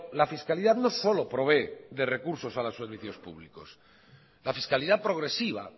la fiscalidad no solo provee de recursos a los servicios públicos la fiscalidad progresiva